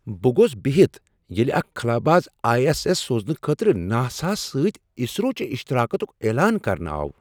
بہٕ گوس بِہِتھ ییٚلہ اکھ خلاباز آیی ایس ایس سوزنہٕ خٲطرٕ ناساہس سۭتۍ اسرو چِہ شراکتُك اعلان کرنہٕ آو۔